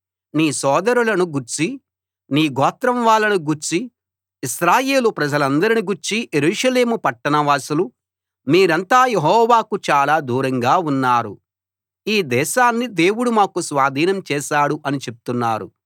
నీ సోదరులను గూర్చీ నీ గోత్రం వాళ్ళను గూర్చీ ఇశ్రాయేలు ప్రజలందరిని గూర్చీ యెరూషలేము పట్టణవాసులు మీరంతా యెహోవాకు చాలా దూరంగా ఉన్నారు ఈ దేశాన్ని దేవుడు మాకు స్వాధీనం చేశాడు అని చెప్తున్నారు